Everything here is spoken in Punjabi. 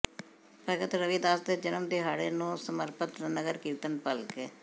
ਭਗਤ ਰਵਿਦਾਸ ਦੇ ਜਨਮ ਦਿਹਾੜੇ ਨੂੰ ਸਮਰਪਤ ਨਗਰ ਕੀਰਤਨ ਭਲਕੇ